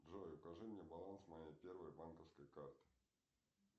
джой укажи мне баланс моей первой банковской карты